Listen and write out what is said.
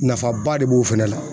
Nafaba de b'o fɛnɛ la